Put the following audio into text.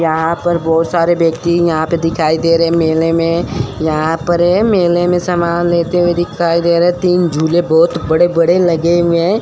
यहां पर बहुत सारे व्यक्ति यहां पे दिखाई दे रहे हैं। मेले में यहां पर ये मेले में सामान लेते हुए दिखाई दे रहे है तीन झूले बहुत बड़े-बड़े लगे हुए हैं।